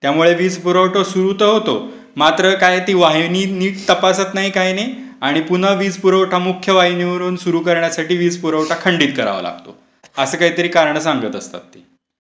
त्यामुळे वीज पुरवठा सुरू तर होतो मात्र काय ती वाहिनी नीट तपासत नाही काही नाही आणि पुन्हा वीजपुरवठा मुख्य वाहिनी वरून सुरू करण्यासाठी वीज पुरवठा खंडित करावा लागतो. असे काहीतरी कारण सांगत असतात ते.